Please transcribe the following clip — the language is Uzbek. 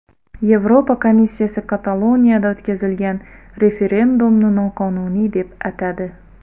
Yevropa komissiyasi Kataloniyada o‘tkazilgan referendumni noqonuniy deb atadi.